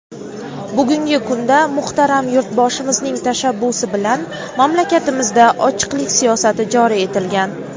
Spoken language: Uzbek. Bugungi kunda muhtaram Yurtboshimizning tashabbusi bilan mamlakatimizda ochiqlik siyosati joriy etilgan.